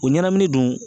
O ɲɛnamini dun